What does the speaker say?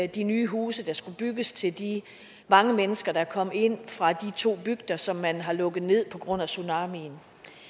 de nye huse der skulle bygges til de mange mennesker der kom ind fra de to bygder som man har lukket ned på grund af tsunamien